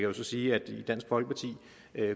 jo så sige at i dansk folkeparti